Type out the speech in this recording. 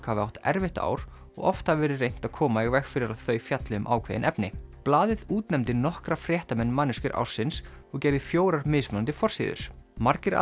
hafi átt erfitt ár og oft hafi verið reynt að koma í veg fyrir að þau fjalli um ákveðin efni blaðið útnefndi nokkra fréttamenn manneskjur ársins og gerði fjórar mismunandi forsíður margir